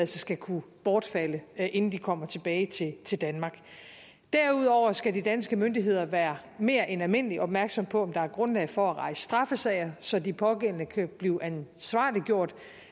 skal kunne bortfalde inden de kommer tilbage til danmark derudover skal de danske myndigheder være mere end almindeligt opmærksomme på om der er grundlag for at rejse straffesager så de pågældende kan blive ansvarliggjort